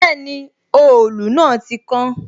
Bẹẹni, òòlù náà ti kán